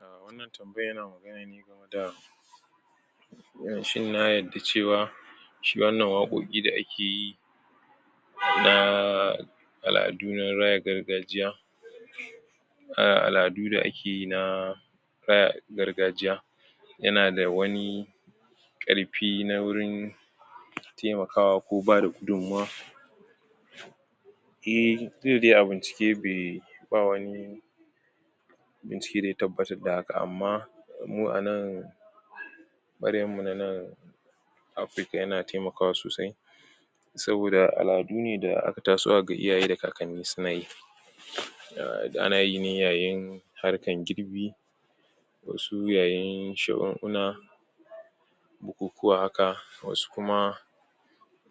Wannan tambaya shin ya yadda cewa shi wannan waƙoƙi da ake yi na aladu na raya gargajiya um aladu da a ke yi na kaya gargajiya ya na da wani karfi na wurin taimakawa ko ba rukudun ma eh tunda dai abincike bei, ba wani bincike da ya tabbatar da haka amma mu a nan barewa mu na nan Afrika ya na taimakawa sosai saboda aladu ne da a ka taso a ga iyaye da kakane su na yi um na yi ne ƴaƴen harkan girbi da su ƴaƴen bukukuwa haka, wassu kuma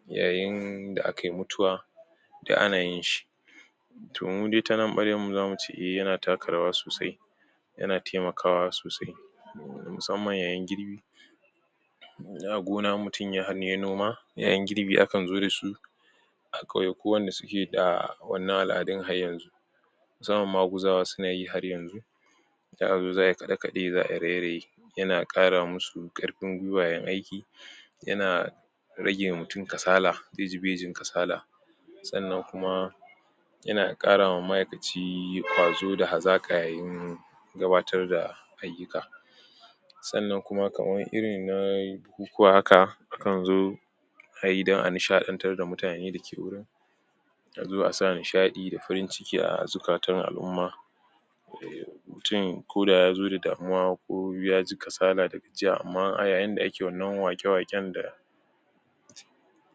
ƴaƴen da akayi mutuwa duk a na yin shi toh mu dai ta nan baren mu za mu ce eh ya na taka rawa sosai ya na taimakawa sosai musamman ƴaƴan girbi da gona, in mutum ya hanya ya noma, ƴaƴan girbi a kan zo da su akwai ko wanda su ke da wannan na alarin har yanzu samu maguzawa su na yi har yanzu zaa zo, zaa kade-kade, zaa ire-ire ya na kara massu karfin gwiwa yan aiki ya na rage wa mutum kasala, iji-bijin kasala tsannan kuma ya na kara ma maaikaci kwazo da hazakayin gabbatar da ayuka tsannan kuma, kamar iri na buka a haka, a kan zo a yi dan a nishadantan da mutane da ke wurin a zo a sa nishadi da farin ciki a zukatan alumma mutum ko da ya zo da damuwa ko ya ji kasala da gajiya amma ai in da a ke wannan wake waken da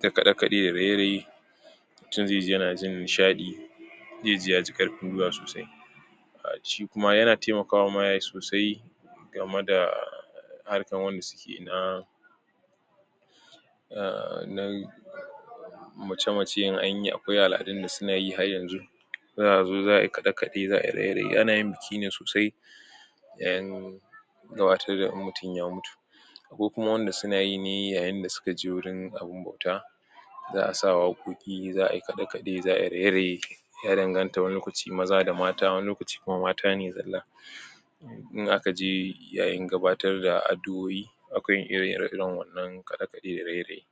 da kade kade da ire ire mutum zai ji na ji nishadi zai ji ya ji karfin ruwa sosai um ci kuma ya na taimakawa ma sosai girmar da harkan wanda su ke na na, na muce-muce in anyi akwai aladun da su na yi har yanzu zaa zo zaa yi kadekade za'a ire ire, um na yin biki ne sosai da ƴen gabbatar da in mutum ya mutu ko kuma wanda su na yi ne yayin da su ka ji wurin abun bauta zaa sa waƙoƙi, za'a yi kade kade, za'a yi ire ire irin in an tar wan lokaci maza da mata wanni lokaci mata ne zalla in a ka je yayin gabbatar da addu'oƴi akwai ire iren waƴannan kada kadai iri iri.